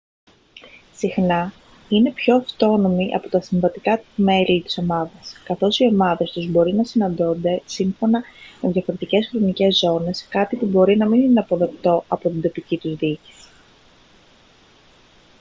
συχνά είναι πιο αυτόνομοι από τα συμβατικά μέλη της ομάδας καθώς οι ομάδες τους μπορεί να συναντώνται σύμφωνα με διαφορετικές χρονικές ζώνες κάτι που μπορεί να μην είναι αποδεκτό από την τοπική τους διοίκηση